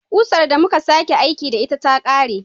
Kusar da Musa ke aiki da ita ta kare